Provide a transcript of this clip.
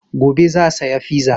Gobe za saya fiza